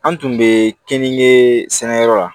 An tun bɛ keninke sɛnɛ yɔrɔ la